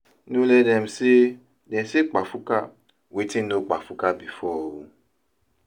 no let dem say dem say kpafuka wetin no kpafuka bifor o